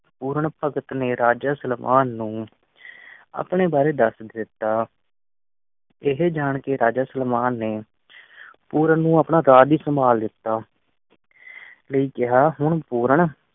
ਪੂਰਨ ਭਗਤ ਨੇ ਰਾਜਾ ਸਲਵਾਨ ਨੂੰ ਆਪਣੇ ਬਾਰੇ ਦਾਸ ਦਿੱਤਾ। ਇਹ ਜਾਣ ਕੇ ਰਾਜਾ ਸੁਲੇਮਾਨ ਨੇ ਪੂਰਨ ਨੂੰ ਆਪਣਾ ਰਾਜ੍ਯ ਸੰਭਾਲ ਦਿਤਾ ਲਈ ਕਿਹਾ ਹੁਣ ਪੂਰਨ